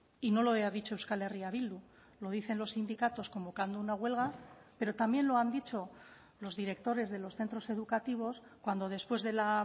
y no lo ha dicho euskal herria bildu lo dicen los sindicatos convocando una huelga pero también lo han dicho los directores de los centros educativos cuando después de la